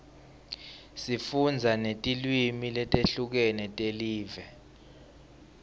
sifundza netilwimi letihlukile telive